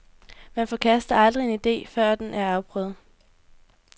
Man forkaster aldrig en ide, før den er afprøvet.